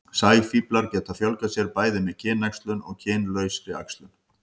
sæfíflar geta fjölgað sér bæði með kynæxlun og kynlausri æxlun